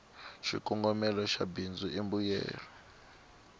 xikongomela xa bindzu i mbuyelo